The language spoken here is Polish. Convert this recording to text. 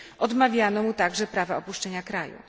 Odmawiano mu także prawa opuszczenia kraju.